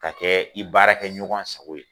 Ka kɛ i baara kɛ ɲɔgɔn sago ye